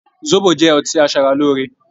Zobo jẹ́ ọtí asara lóore